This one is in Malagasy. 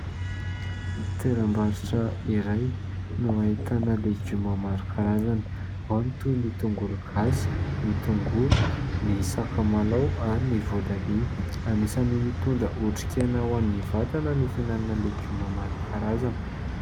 Toeram-barotra iray no ahitana legioma maro karazany. Ao ny toy ny tongolo gasy, ny tongolo, ny sakamalaho ary ny voatabia. Anisan'ny mitondra otrikaina ho an'ny vatana ny fihinanana legioma maro karazany.